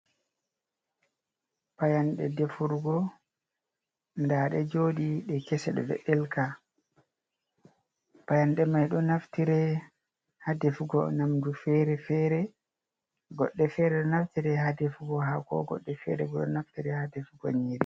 Payanɗe defurgo, ndaaɗe joodi, ɗe kese, ɗe ɗon ɗeelka, payanɗe may ɗo naftire haa defugo nyamndu feere-feere, goɗɗe feere ɗo naftira haa defugo haako, goɗɗe feere bo ɗo naftire haa defugo nyiiri.